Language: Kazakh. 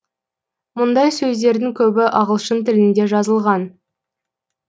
мұндай сөздердің көбі ағылшын тілінде жазылған